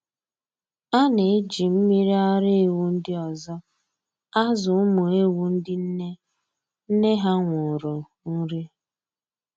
A na-eji mmiri ara ewu ndị ọzọ azụ ụmụ ewu ndị nne nne ha nwụrụ nri